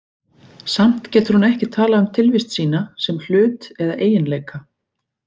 Samt getur hún ekki talað um tilvist sína sem hlut eða eiginleika.